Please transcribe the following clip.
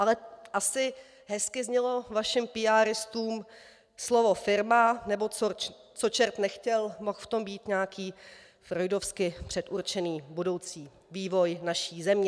Ale asi hezky znělo vašim píáristům slovo firma, nebo co čert nechtěl, mohl v tom být nějaký freudovsky předurčený budoucí vývoj naší země.